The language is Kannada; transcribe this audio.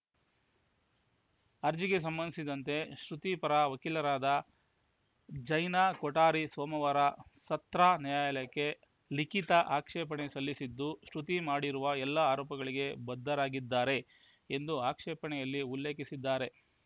ಅರ್ಜಿಗೆ ಸಂಬಂಧಿಸಿದಂತೆ ಶ್ರುತಿ ಪರ ವಕೀಲರಾದ ಜೈನಾ ಕೊಠಾರಿ ಸೋಮವಾರ ಸತ್ರ ನ್ಯಾಯಾಲಯಕ್ಕೆ ಲಿಖಿತ ಆಕ್ಷೇಪಣೆ ಸಲ್ಲಿಸಿದ್ದು ಶ್ರುತಿ ಮಾಡಿರುವ ಎಲ್ಲ ಆರೋಪಗಳಿಗೆ ಬದ್ಧವಾಗಿದ್ದಾರೆ ಎಂದು ಆಕ್ಷೇಪಣೆಯಲ್ಲಿ ಉಲ್ಲೇಖಸಿದ್ದಾರೆ